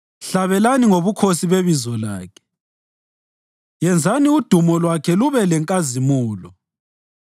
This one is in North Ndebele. Hlabelani ngobukhosi bebizo lakhe; yenzani udumo lwakhe lube lenkazimulo!